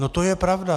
- No to je pravda.